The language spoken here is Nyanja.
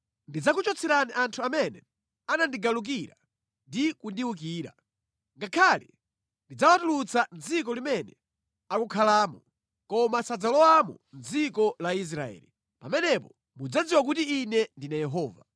Ndidzakuchotserani anthu amene anandigalukira ndi kundiwukira. Ngakhale ndidzawatulutsa mʼdziko limene akukhalamo, koma sadzalowamo mʼdziko la Israeli. Pamenepo mudzadziwa kuti Ine ndine Yehova.